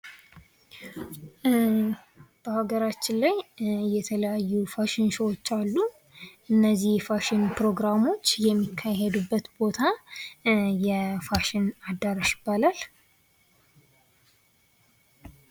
በሀገራችን ላይ የተለያዩ የፋሽን ሾዎች አሉ ። እነዚህ የፋሽን ፕሮግራሞች የሚካሄዱበት ቦታ የፋሽን አዳራሽ ይባላል ።